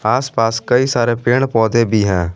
आस पास कई सारे पेड़ पौधे भी हैं।